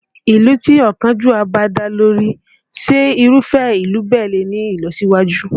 Ìlú tí ọ̀kánjúà bá ń darí, ṣé Irúfẹ́ ìlú bẹ́ẹ̀ lè ní ìlọsíwájú?